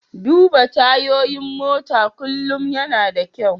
Duba tayoyin mota kullum yana da kyau.